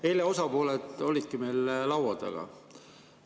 Eile osapooled olidki meil laua taga.